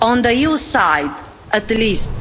On the EU side at the least,